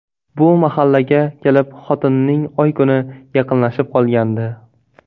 Bu mahalga kelib xotinining oy-kuni yaqinlashib qolgandi.